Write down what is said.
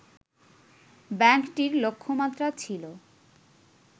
ব্যাংকটির লক্ষ্যমাত্রা ছিল